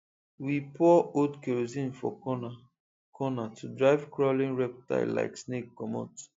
we pour old kerosene for cornercorner to drive crawling reptile like snake comot